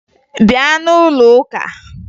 Bịa n'ụlọ ụka!